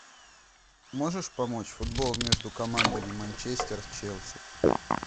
можешь помочь футбол между командами манчестер челси